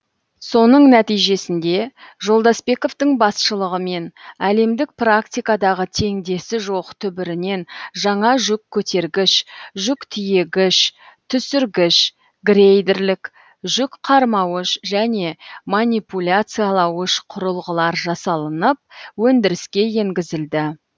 соның нәтижесінде жолдасбековтің басшылығымен әлемдік практикадағы теңдесі жоқ түбірінен жаңа жүк көтергіш жүк тиегіш түсіргіш грейдерлік жүк қармауыш және манипуляциялауыш құрылғылар жасалынып өндіріске енгізілді